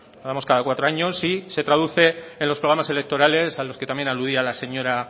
y se traduce en los programas electorales a los que también aludía la señora